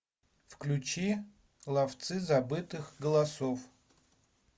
включи ловцы забытых голосов